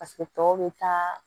Paseke tɔw bɛ taa